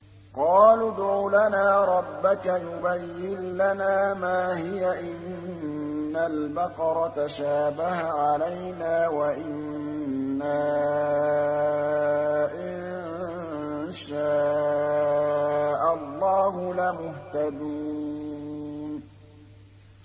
قَالُوا ادْعُ لَنَا رَبَّكَ يُبَيِّن لَّنَا مَا هِيَ إِنَّ الْبَقَرَ تَشَابَهَ عَلَيْنَا وَإِنَّا إِن شَاءَ اللَّهُ لَمُهْتَدُونَ